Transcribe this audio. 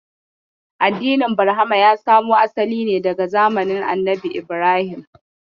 Addinin Barhama ya samo asali ne daga zamanin Annabi Ibrahim.